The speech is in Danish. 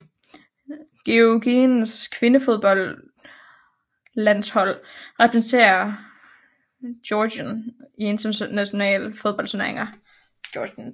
Georgiens kvindefodboldlandshold repræsenterer Georgien i internationale fodboldturneringer